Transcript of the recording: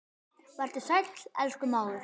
Vertu sæll, elsku mágur.